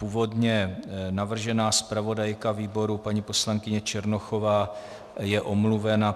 Původně navržená zpravodajka výboru paní poslankyně Černochová je omluvena.